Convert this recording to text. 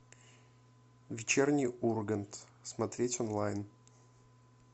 вечерний ургант смотреть онлайн